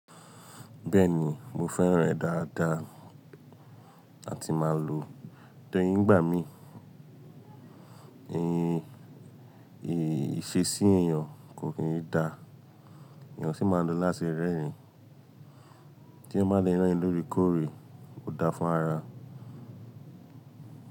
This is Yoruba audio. Bẹ́ẹ̀ni, mo fẹ́ràn rẹ̀ dáadáa àti máa lò ó. Nigbà mií, ì ṣe sí èèyàn kò kí n dá, èèyàn sì máa ń lo láti rẹ́rìn-ín, tí ẹeyan bá le rerin-in lóorekoórè ó dáa fún ara.